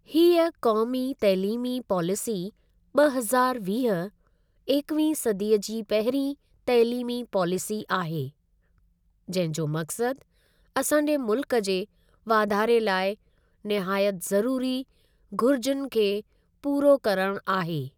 हीअ क़ौमी तइलीमी पॉलिसी ॿ हज़ारु वीह, एकवीहीं सदीअ जी पहिरीं तइलीमी पॉलिसी आहे, जंहिं जो मक़सद असांजे मुल्क जे वाधारे लाइ निहायत ज़रूरी घुरिजुनि खे पूरो करणु आहे।